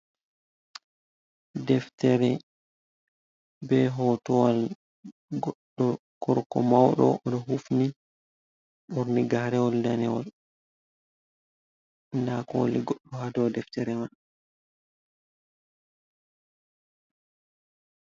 Deftere, be hotowal goɗɗo gorko mauɗo, o ɗo hufni, ɓorni garewol danewol. Nda kooli goɗɗo ha dou deftere man.